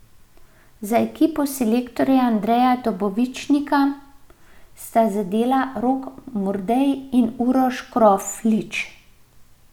Za ekipo selektorja Andreja Dobovičnika sta zadela Rok Mordej in Uroš Kroflič.